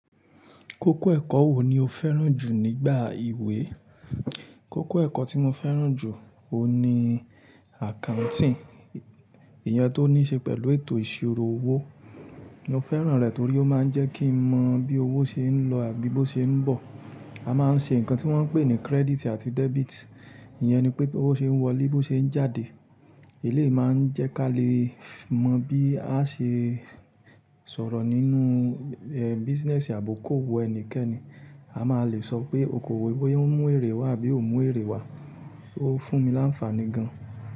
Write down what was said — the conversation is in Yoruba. Kókó ẹ̀kọ́ wo ni o fẹ́ràn jù nígbà ìwé? Kókó ẹ̀kọ́ tí mo fẹ́ràn jù oun ni accounting. Ìyẹn tó ní ṣe pẹ̀lú ètò ìṣirò owó. Mo fẹ́ràn rẹ̀ torí ó máa ń jẹ́ kí n mọ bí owó ṣe ń lọ àbí bó ṣe ń bọ̀. A máa ń ṣe nǹkan tí wọ́n ń pè ní credit àti debit. Ìyẹn ni pé bówo ṣe ń wọlé, bó ṣe ń jáde. Eléyìí máa ń jẹ́ ká lè mọ̀ bí a ṣe sọ̀rọ̀ nínú business àbúkù owó ẹnikẹ́ni. A máa lè sọ pé okoòwò bóyá ó ń mú èrè wá àbí ó ń mú èrè wá. Ó fún mi láǹfàní gan.